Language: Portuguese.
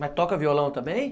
Mas toca violão também?